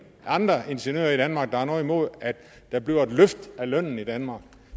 andre ingeniører i danmark der har noget imod at der bliver et løft af lønnen i danmark